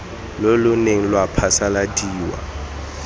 lo lo neng lwa phasaladiwa